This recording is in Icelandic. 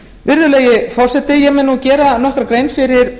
virðulegi forseti ég mun nú gera nokkra grein fyrir